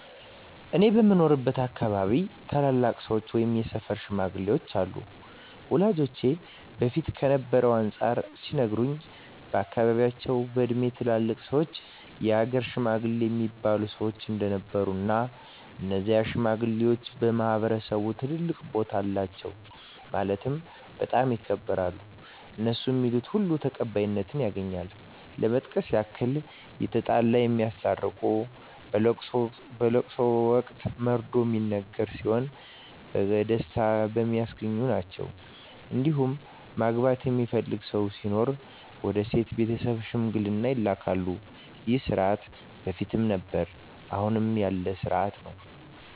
እኔ በምኖርበት አካባቢ ታላላቅ ሰዎች ወይም የሰፈር ሽማግሌዎች አሉ ወላጆቼ በፊት ከነበረው አንፃር ሲነግሩኝ በአካባቢያቸው በእድሜ ትላልቅ ሰዎች የሀገር ሽማግሌ እሚባሉ ሰዎች እንደነበሩ እና እነዚህ ሽማግሌዎች በማህበረሰቡ ትልቅ ቦታ አላቸው ማለትም በጣም ይከበራሉ እነሡ ሚሉት ሁሉ ተቀባይነት ያገኛል ለመጥቀስ ያክል የተጣላ የሚያስታርቁ በለቅሶ ወቅት መርዶ ሚነገር ሲሆን በቀስታ የሚያስረዱ ናቸዉ እንዲሁም ማግባት የሚፈልግ ሰው ሲኖር ወደ ሴቷ ቤተሰብ ሽምግልና ይላካሉ ይህ ስርዓት በፊትም ነበረ አሁንም ያለ ስርአት ነው።